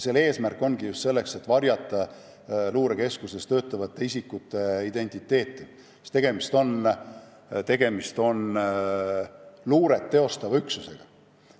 Eesmärk ongi just varjata luurekeskuses töötavate isikute identiteeti – tegemist on ju luuret teostava üksusega.